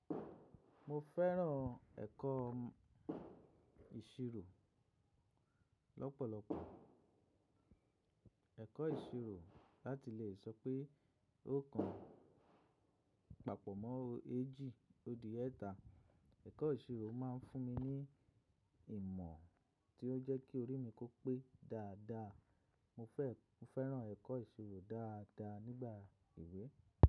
Mo fẹ́ràn ẹ̀kọ́ ìṣirò lọ́pọ̀lọpọ̀. Ẹ̀kọ́ ìṣirò láti lè sọ pé o kan papọ̀ mọ́ eéjì odì ẹ̀ta. Ẹ̀kọ́ ìṣirò máa ń fún mi ní ìmọ̀ tí ó jẹ́ kí orí mi kó pé dáadáa. Mo fẹ́, mo fẹ́ràn ẹ̀kọ́ ìṣirò dáadáa nígbà ìwé.